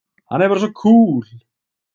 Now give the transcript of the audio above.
Hann er bara svo kúl!